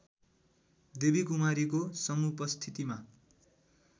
देवीकुमारीको समुपस्थितिमा